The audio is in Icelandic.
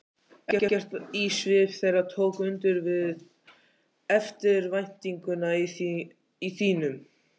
Ekkert í svip þeirra tók undir við eftirvæntinguna í þínum.